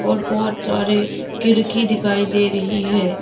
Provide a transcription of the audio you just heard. और बहोत सारे किरकी दिखाई दे रही है।